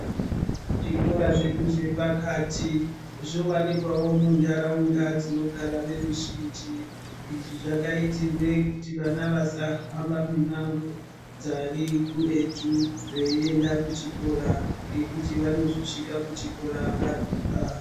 Zvikora zvepakati zvowanikwawo munharaunda dzinogarawo weruzhinji. Izvi zvakaitirwe kuti vana vasahamba mimango dzari kuretu veienda kuchikora ngekuti vanozosvika varemba.